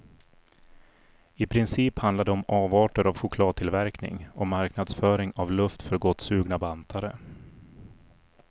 I princip handlar det om avarter av chokladtillverkning och marknadsföring av luft för gottsugna bantare.